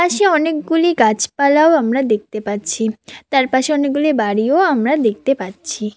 সে অনেকগুলি গাছপালাও আমরা দেখতে পাচ্ছি তার পাশে অনেকগুলি বাড়িও আমরা দেখতে পাচ্ছি।